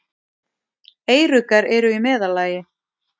Eyruggar eru í meðallagi.